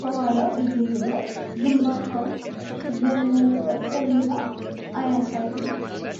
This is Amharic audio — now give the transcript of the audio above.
ከኋላው እየሄደ ግንባታው ያለመጠናቀቁን አያሳይም?